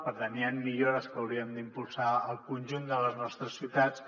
per tant hi han millores que hauríem d’impulsar al conjunt de les nostres ciutats